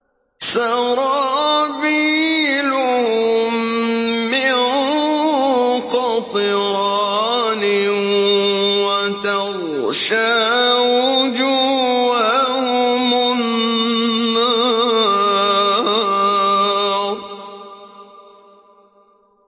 سَرَابِيلُهُم مِّن قَطِرَانٍ وَتَغْشَىٰ وُجُوهَهُمُ النَّارُ